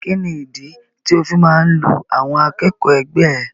Kini ìdí tí o fi máa n lu àwọn akẹ́kọ̀ọ́ ẹgbẹ ẹ?